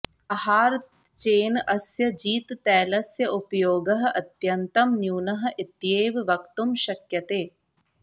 आहारत्चेन अस्य जिततैलस्य उपयोगः अत्यन्तं न्यूनः इत्येव वक्तुं शक्यते